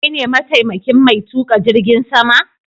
Kai ne ma taimakin mai tuƙa jirgin sama?